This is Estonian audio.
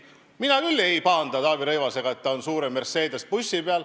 Mina küll ei pahanda Taavi Rõivasega, et ta on suure Mercedese bussi peal.